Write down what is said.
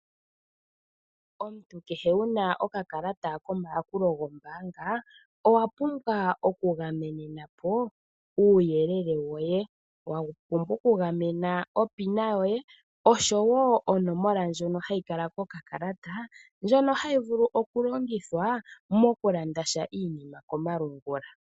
Omuntu kehe wuna oka kalata kombaanga owa pumbwa oku gamena uuyelele woye .Owa pumbwa oku gamena opina yoye nosho wo oonomola ndhono hadhi kala ko ka kalata koye hadhi longithwa ngele to landasha komalungula.